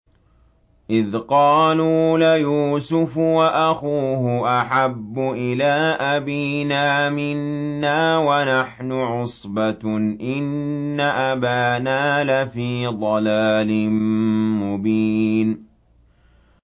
إِذْ قَالُوا لَيُوسُفُ وَأَخُوهُ أَحَبُّ إِلَىٰ أَبِينَا مِنَّا وَنَحْنُ عُصْبَةٌ إِنَّ أَبَانَا لَفِي ضَلَالٍ مُّبِينٍ